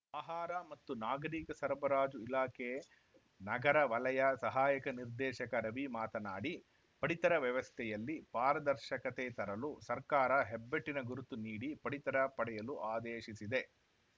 ಆಹಾರ ಮತ್ತು ನಾಗರೀಕ ಸರಬರಾಜು ಇಲಾಖೆ ನಗರ ವಲಯ ಸಹಾಯಕ ನಿರ್ದೇಶಕ ರವಿ ಮಾತನಾಡಿ ಪಡಿತರ ವ್ಯವಸ್ಥೆಯಲ್ಲಿ ಪಾರದರ್ಶಕತೆ ತರಲು ಸರ್ಕಾರ ಹೆಬ್ಬೆಟ್ಟಿನ ಗುರುತು ನೀಡಿ ಪಡಿತರ ಪಡೆಯಲು ಆದೇಶಿಸಿದೆ